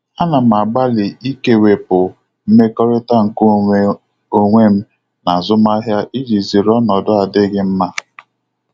Ana m agbalị ikewepụ mmekọrịta nke onwe onwe m na azụmahịa iji zere ọnọdụ adịghị mma.